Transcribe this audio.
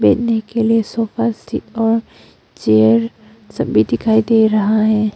बैठने के लिए सोफा सेट और चेयर सभी दिखाई दे रहे है।